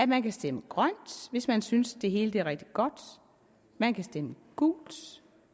man kan stemme grønt hvis man synes det hele er rigtig godt man kan stemme gult